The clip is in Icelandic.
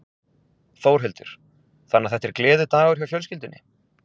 Þórhildur: Þannig að þetta er gleðidagur hjá fjölskyldunni?